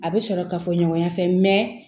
A bɛ sɔrɔ ka fɔ ɲɔgɔnya fɛ